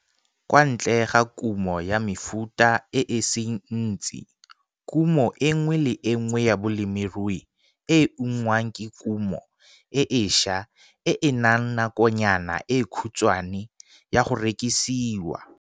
Kwa ntle ga kumo ya mefuta e e seng ntsi, kumo e nngwe le e nngwe ya bolemirui e e ungwang ke kumo e e ša e e nang nakonyana e khutswane ya go rekisiwa.